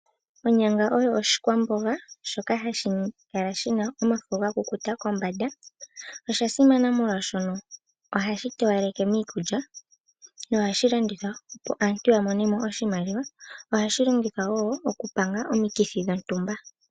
Onyanga oyo oshikwamboga shoka hashi kala shina omafo kombanda .Oshasimana oshoka ohashi towaleke miikulya nohashi landithwa opo aantu yamone oshimaliwa . Ohashi longithwa woo oku panga omikithi dhontumba.